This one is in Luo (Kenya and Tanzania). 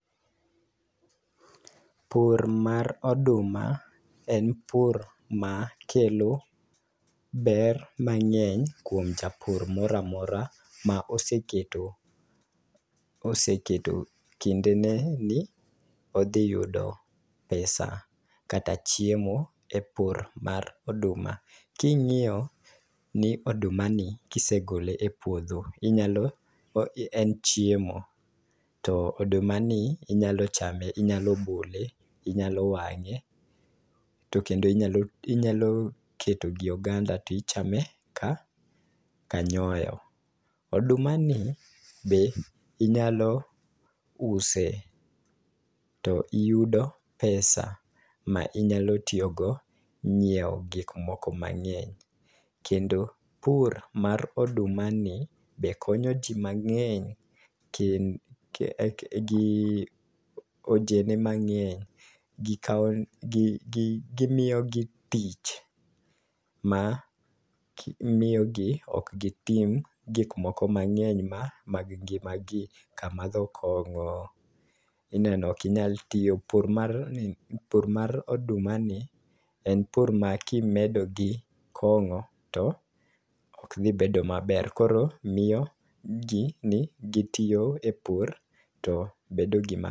Pur mar oduma en pur ma kelo ber mang'eny kuom japur moramora ma oseketo oseketo kinde ne ni odhi yudo pesa kata chiemo e pur mar oduma. King'iyo ni oduma ni kisegole e puodho inyalo en chiemo to oduma ni inyalo chame inyalo bole inyalo wang'e to kendo ,inyalo inyalo keto gi oganda tichame ka ka nyoyo .Oduma ni be inyalo use to iyudo pesa ma inyalo tiyo go ng'iewo gik moko mang'eny . Kendo pur mar oduma ni be konyo ji mang'eny ke kendo gi ojende mang'eny gikawo gi gi gimiyo gi tich ma miyo gi ok gitim gik moko mang'eny mag ngima gi ka madho kong'o, ineno kinyal tiyo. Pur mar oduma ni en pur ma kimedo gi kong'o to ok dhi bedo maber koro miyo gin gitiyo e pur to bedo gima